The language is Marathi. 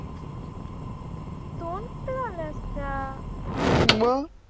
झाल्या असत्या मग